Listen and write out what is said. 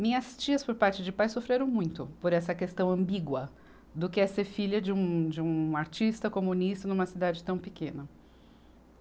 Minhas tias, por parte de pai, sofreram muito por essa questão ambígua do que é ser filha de um, de um artista comunista numa cidade tão pequena.